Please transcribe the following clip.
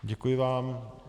Děkuji vám.